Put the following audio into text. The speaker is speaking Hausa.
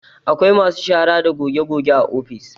Akwai masu shara da goge goge a ofis